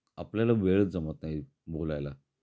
आपल्याला वेळ जमत नाही बोलायला